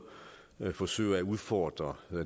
forsøger at udfordre